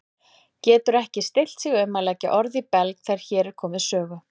Getur ekki stillt sig um að leggja orð í belg þegar hér er komið sögu.